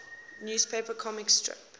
newspaper comic strip